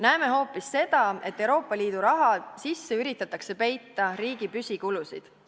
Näeme hoopis seda, et Euroopa Liidu raha sisse üritatakse peita riigi püsikulusid.